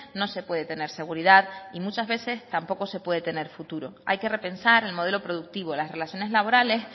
no se puede tener seguridad y muchas veces tampoco se puede tener futuro hay que repensar el modelo productivo las relaciones laborales